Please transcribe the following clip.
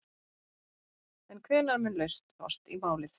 En hvenær mun lausn fást í málið?